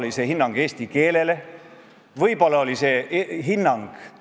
Aga just sellist vastandust tuleb kõnealuse teema puhul ilmtingimata vältida, selleks tuleb alati näidata punast tuld.